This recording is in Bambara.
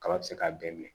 Kaba ti se k'a bɛɛ minɛ